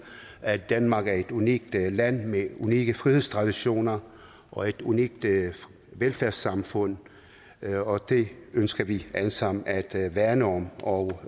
at danmark er et unikt land med unikke frihedstraditioner og et unikt velfærdssamfund og det ønsker vi alle sammen at at værne om og